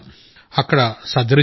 అక్కడ సర్జరీ చేశారు